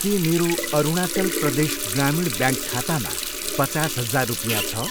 के मेरो अरुणाचल प्रदेश ग्रामीण ब्याङ्क खातामा पचास हजार रुपियाँ छ?